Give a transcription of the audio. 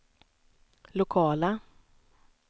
lokala